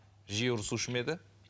жиі ұрысушы ма еді